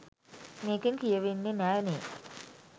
මේකෙන් කියවෙන්නෙ නෑ නේ